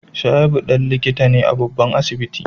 Shaibu dan likita ne a babban asibiti